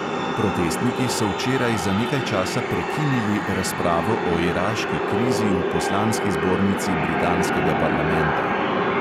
Protestniki so včeraj za nekaj časa prekinili razpravo o iraški krizi v poslanski zbornici britanskega parlamenta.